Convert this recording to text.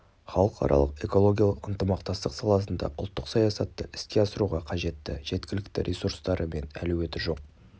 халықаралық экологиялық ынтымақтастық саласында ұлттық саясатты іске асыруға қажетті жеткілікті ресурстары мен әлеуеті жоқ